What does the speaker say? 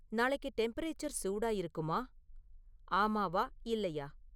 நாளைக்கு டெம்பரேச்சர் சூடா இருக்குமா, ஆமாவா இல்லையா